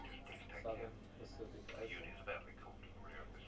southern pacific ocean